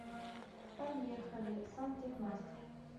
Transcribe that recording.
поехали сантехмастер